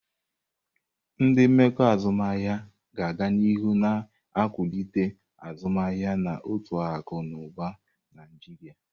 Ndị mmekọ azụmahịa ga-aga n'ihu na-ewulite azụmaahịa na uto akụ na ụba na Nigeria.